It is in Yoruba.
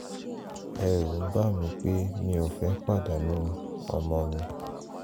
ẹ̀rù ń bà mí pé mi ò ní fẹ́ pàdánù ọmọ mi